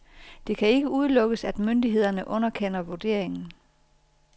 Det kan ikke udelukkes, at myndighederne underkender vurderingen.